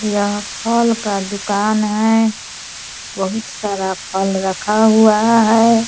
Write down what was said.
यह फल का दुकान है बहोत सारा फल रखा हुआ है।